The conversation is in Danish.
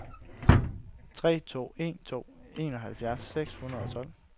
tre to en to enoghalvfjerds seks hundrede og tolv